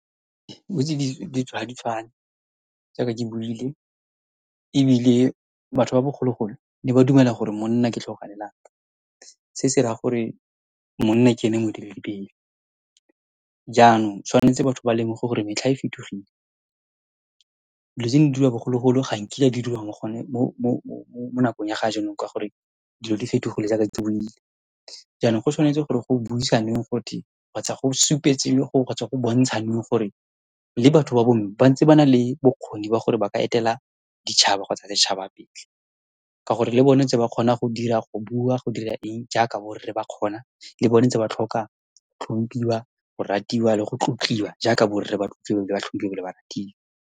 ditso ha di tshwane jaaka ke buile, ebile batho ba bogologolo ba ne ba dumela gore monna ke tlhogo ya lelapa. Se se raya gore monna ke ene moeteledipele. Jaanong, tshwanetse batho ba lemoge gore metlha e fetogile, dilo di diriwa bogologolo ga nkitla di diriwa mo nakong ya ga jaanong, ka gore dilo di fetogile jaaka ke buile. Jaanong, go tshwanetse gore go buisanweng , kgotsa go go, kgotsa go bontshanwe gore le batho ba bomme ba ntse ba na le bokgoni jwa gore ba ka etele ditšhaba kgotsa setšhaba pele, ka gore le bone ba ntse ba kgona go bua, go dira eng jaaka borre ba kgona, le bone ba ntse ba tlhoka go tlhompiwa, go ratiwa, le go tlotliwa jaaka borre , ebile ba tlhompiwa ebile ba ratiwa.